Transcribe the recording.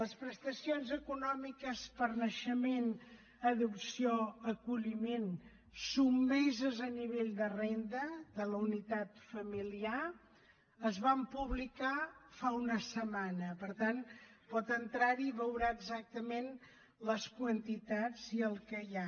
les prestacions econòmiques per naixement adopció o acolliment sotmeses a nivell de renda de la unitat familiar es van publicar fa una setmana per tant pot entrar hi i veurà exactament les quantitats i el que hi ha